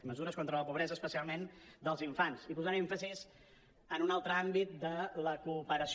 mesures contra la pobresa especialment dels infants i posant èmfasi en un altre àmbit de la cooperació